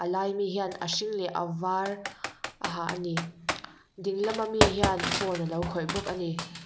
a laia mi hian a hring leh a var a ha a ni ding lama mi hian phone a lo khawih bawk a ni.